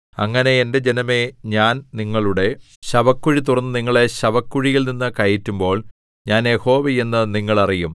അങ്ങനെ എന്റെ ജനമേ ഞാൻ നിങ്ങളുടെ ശവക്കുഴി തുറന്ന് നിങ്ങളെ ശവക്കുഴിയിൽനിന്നു കയറ്റുമ്പോൾ ഞാൻ യഹോവ എന്ന് നിങ്ങൾ അറിയും